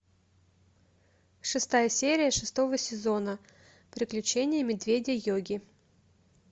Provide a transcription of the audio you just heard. шестая серия шестого сезона приключения медведя йоги